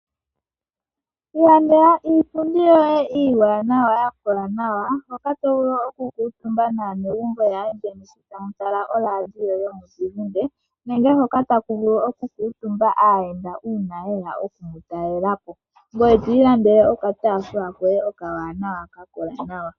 Ilandela iipundi yoye iiwaanawa ya kola nawa, hoka to vulu oku kuutumba naanegumbo yaandjeni tamu tala oradio yomuzizimbe nenge hoka taku vulu oku kuutumba aayenda uuna yeya oku mu talela po, ngoye to ilandele oka taafula koye ka kola nawa.